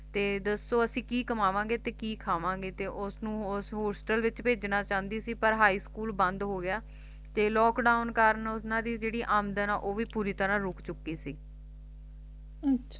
ਤੇ ਦਸੋ ਅਸੀਂ ਕੀ ਕਮਾਂਵਾਂਗੇ ਤੇ ਕੀ ਖਾਵਾਂਗੇ ਤੇ ਉਹ ਉਸਨੂੰ hostel ਵਿਚ ਭੇਜਣਾ ਚਾਹੁੰਦੀ ਸੀ ਪਰ high school ਬੰਦ ਹੋ ਗਿਆ ਤੇ lockdown ਕਾਰਨ ਓਹਨਾ ਦੀ ਜਿਹੜੀ ਆਮਦਨ ਉਹ ਵੀ ਪੂਰੀ ਤਰਾਂਹ ਰੁਕ ਚੁੱਕੀ ਸੀ ਅਮ